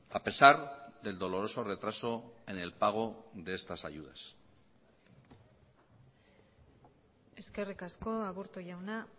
a pesar del doloroso retraso en el pago de estas ayudas eskerrik asko aburto jauna